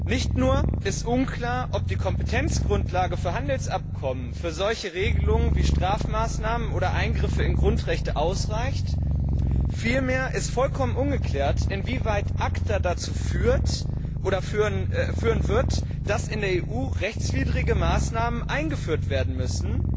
Nicht nur ist unklar, ob die Kompetenzgrundlage für Handelsabkommen für solche Regelungen wie Strafmaßnahmen oder Eingriffe in Grundrechte ausreicht, vielmehr ist vollkommen ungeklärt, inwieweit ACTA dazu führen wird, dass in der EU rechtswidrige Maßnahmen eingeführt werden müssen.